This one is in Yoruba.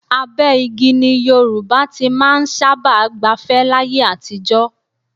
Abẹ́ igi ni Yorùbá ti máa ń sábà gbafẹ́ láyé àtijọ́